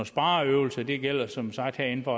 spareøvelser det gælder som sagt herinde fra